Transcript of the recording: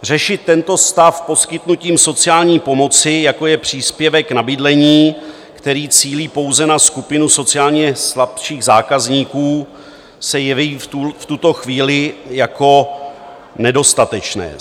Řešit tento stav poskytnutím sociální pomoci, jako je příspěvek na bydlení, který cílí pouze na skupinu sociálně slabších zákazníků, se jeví v tuto chvíli jako nedostatečné.